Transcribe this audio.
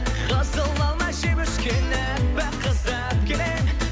қызыл алма жеп өскен аппақ қызды алып келемін